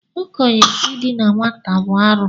Okenye idina nwata bụ arụ.